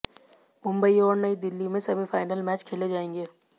मुंबई और नई दिल्ली में सेमीफाइनल मैच खेले जाएंगे